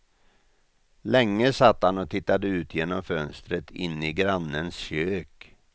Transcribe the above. Länge satt han och tittade ut genom fönstret in i grannens kök.